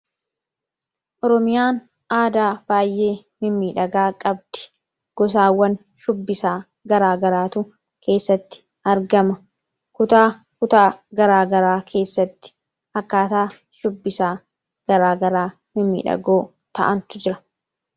oromiyaan aadaa baay'ee mimiidhagaa qabdi gosaawwan shubbisaa garaagaraatu keessatti argama kutaa kutaa garaagaraa keessatti akkaataa shubbisaa garaagaraa mimiidhagoo ta'antu jira.